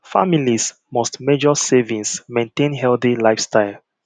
families must measure servings maintain healthy lifestyle